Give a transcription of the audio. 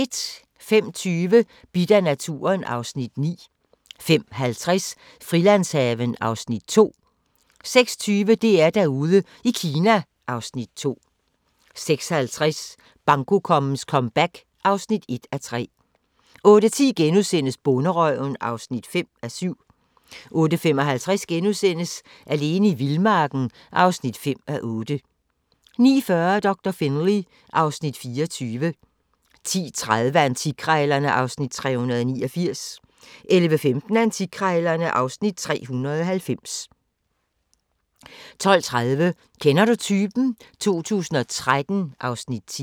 05:20: Bidt af naturen (Afs. 9) 05:50: Frilandshaven (Afs. 2) 06:20: DR-Derude i Kina (Afs. 2) 06:50: Bankokongens comeback (1:3) 08:10: Bonderøven (5:7)* 08:55: Alene i vildmarken (5:8)* 09:40: Doktor Finlay (Afs. 24) 10:30: Antikkrejlerne (Afs. 389) 11:15: Antikkrejlerne (Afs. 390) 12:30: Kender du typen? 2013 (Afs. 10)